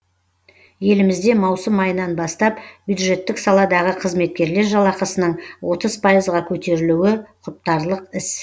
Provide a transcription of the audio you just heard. елімізде маусым айынан бастап бюджеттік саладағы қызметкерлер жалақысының отыз пайызға көтерілуі құптарлық іс